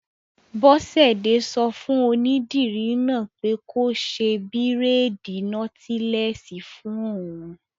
Bọ́sẹ̀dé sọ fún onídìrí náà pé kó ṣe bírèèdì nọ́tílẹ́ẹ̀sì fún òun